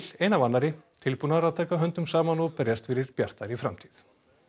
ein af annarri tilbúnar að taka höndum saman og berjast fyrir bjartari framtíð